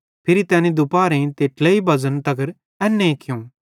फिरी तैनी दुपहरेईं ते ट्लेई बज़न तगर एन्ने कियूं